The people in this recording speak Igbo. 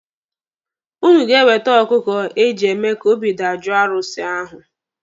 Ụnụ ga-ewete ọkụkụ eji eme ka obi dajoo arụsị ahụ.